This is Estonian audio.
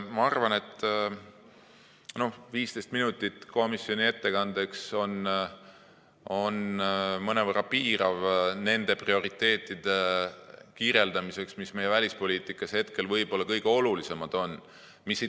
Ma arvan, et 15 minutit komisjoni ettekandeks mõnevõrra piirab nende prioriteetide kirjeldamist, mis meie välispoliitikas hetkel võib-olla kõige olulisemad on.